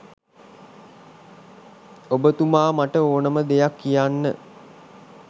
ඔබතුමා මට ඕනම දෙයක්‌ කියන්න.